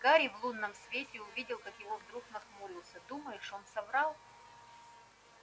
гарри в лунном свете увидел как его вдруг нахмурился думаешь он соврал